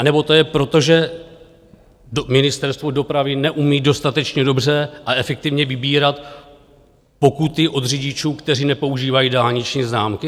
Anebo to je proto, že Ministerstvo dopravy neumí dostatečně dobře a efektivně vybírat pokuty od řidičů, kteří nepoužívají dálniční známky?